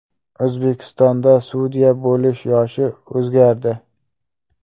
O‘zbekistonda sudya bo‘lish yoshi o‘zgardi.